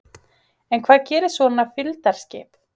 En hvað gerir svona fylgdarskip?